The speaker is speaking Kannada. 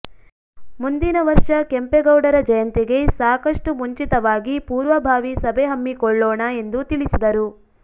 ಮುಂದಿನ ವರ್ಷ ಕೆಂಪೇಗೌಡರ ಜಯಂತಿಗೆ ಸಾಕಷ್ಟು ಮುಂಚಿತವಾಗಿ ಪೂರ್ವಭಾವಿ ಸಭೆ ಹಮ್ಮಿಕೊಳ್ಳೋಣ ಎಂದು ತಿಳಿಸಿದರು